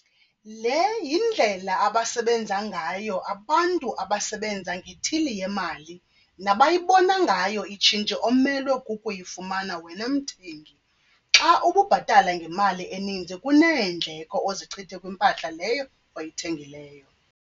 Le yindlela abasebenza ngayo abantu abasebenza ngeethili yemali nabayibona ngayo itshintshi omelwe kukuyifumana wena mthengi xa ubhatala ngemali eninzi kuneendleko ozichithe kwimpahla leyo oyithengileyo.